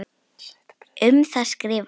Um það skrifar hann